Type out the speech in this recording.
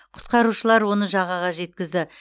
құтқарушылар оны жағаға жеткізді